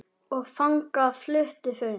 Og þangað fluttu þau.